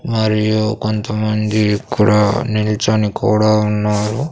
మరియు కొంతమంది ఇక్కడ నిలచని కూడా ఉన్నారు.